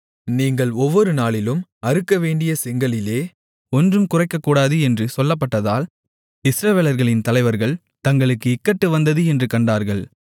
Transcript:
நீங்கள் ஒவ்வொரு நாளிலும் அறுக்கவேண்டிய செங்கலிலே ஒன்றும் குறைக்கக்கூடாது என்று சொல்லப்பட்டதால் இஸ்ரவேலர்களின் தலைவர்கள் தங்களுக்கு இக்கட்டு வந்தது என்று கண்டார்கள்